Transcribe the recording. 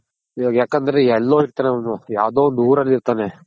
ಇವಾಗ ಯಾಕಂದ್ರೆ ಎಲ್ಲೋ ಇರ್ತಾನ್ ಅವ್ನು ಯಾವ್ದೋ ಒಂದ್ ಊರಲ್ಲಿರ್ತಾನೆ.